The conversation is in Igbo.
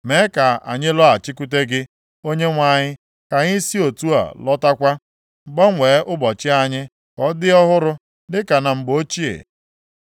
Mee ka anyị lọghachikwute gị, Onyenwe anyị, ka anyị si otu a lọtakwa; gbanwee ụbọchị anyị ka ọ dị ọhụrụ dịka na mgbe ochie,